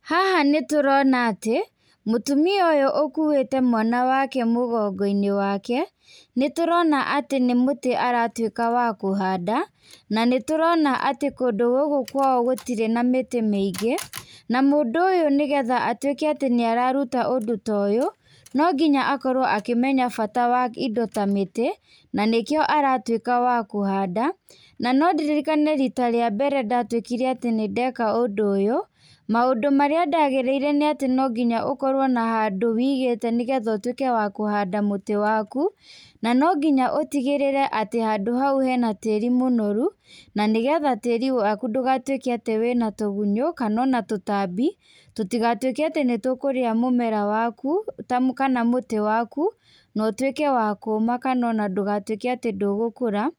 Haha nĩtũrona atĩ mũtumia ũyũ ũkuĩtĩ mwana wake Mũgongoi-inĩ wake, nĩtũrona atĩ nĩ mũtĩ aratuĩka wa kũhanda, na nĩtũrona atĩ kũndũ gũkũ kwao gũtirĩ na mĩtĩ mĩingĩ. Na mũndũ ũyũ nĩgetha atũĩke atĩ nĩararuta ũndũ toyũ, nonginya akorwo akĩmenya bata wa indo ta mĩtĩ. Na nĩ kĩo aratuĩka wa kũhanda. Na nondirinane rita rĩa mbere ndatuĩkire atĩ nĩndeka ũndũ ũyũ, maũndũ marĩa ndagĩrĩire nĩ atĩ no nginya ũkorwo na handũ wigĩte nĩgetha ũtũĩke wa kũhanda mũtĩ waku. Na no nginya ũtigĩrĩre atĩ handũ hau hena tĩri mũnoru. Na nĩgetha tĩri waku ndũgatuĩke atĩ wĩ na tũgunyũ, kana ona tũtambi, tũtigatuĩke atĩ nĩ tũkũrĩa mũmera waku, kana mũtĩ waku, na ũtuĩke wa kũma kana ona ndũgatuĩke atĩ ndũgũkũra.